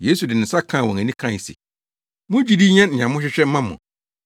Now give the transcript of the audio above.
Yesu de ne nsa kaa wɔn ani kae se, “Mo gyidi nyɛ nea mohwehwɛ mma mo!”